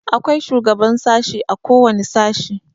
Akwai shugaban sashi a kowane sashi.